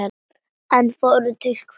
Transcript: En fórn til hvers?